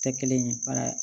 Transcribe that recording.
Tɛ kelen ye